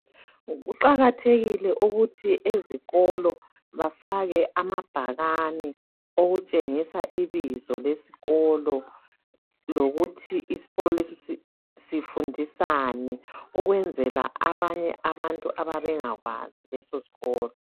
kuqhakathekile ukuthi ezikolo kufakwe amabhakane okutshengisela ibizo lesikolo lokuthi isikolo lesi sifundisani ukwenzela abanye abayabe bengakwazi lesoskolo